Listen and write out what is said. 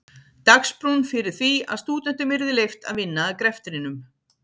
Dagsbrún fyrir því að stúdentum yrði leyft að vinna að greftinum.